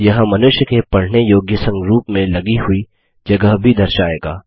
यह मनुष्य के पढने योग्य संरूप में लगी हुई जगह भी दर्शाएगा